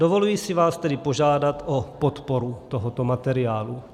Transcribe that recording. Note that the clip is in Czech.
Dovoluji si vás tedy požádat o podporu tohoto materiálu.